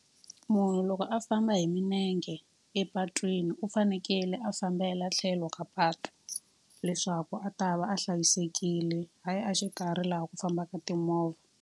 Munhu loko a famba hi milenge epatwini u fanekele a fambela tlhelo ka patu, leswaku a ta va a hlayisekile. Hayi a xikarhi laha ku fambaka timovha.